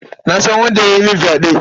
Na san wanda ya yi mini fyaɗen.